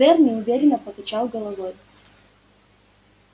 твер неуверенно покачал головой